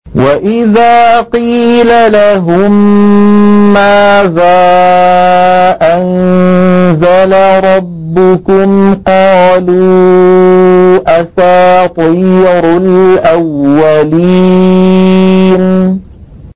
وَإِذَا قِيلَ لَهُم مَّاذَا أَنزَلَ رَبُّكُمْ ۙ قَالُوا أَسَاطِيرُ الْأَوَّلِينَ